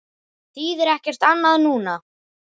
Það þýðir ekkert annað núna.